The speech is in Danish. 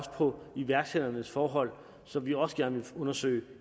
på iværksætternes forhold som vi også gerne vil undersøge